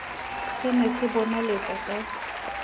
se ne se bonaletsa ka